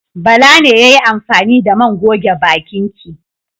Bala ne ya yi amfani da man goge bakin ki.